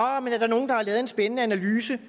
men er der nogen der har lavet en spændende analyse